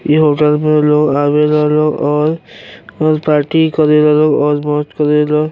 इ होटल में लोग आवेला लोग और और पार्टी करेला लोग और मौज करेला।